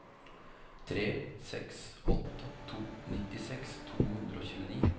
tre seks åtte to nittiseks to hundre og tjueni